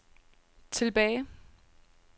tilbage